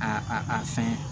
A a a fɛn